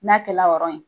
N'a kɛla yɔrɔnin ye